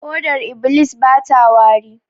Hodar iblis bata wari